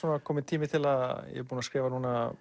kominn tími til ég er búinn að skrifa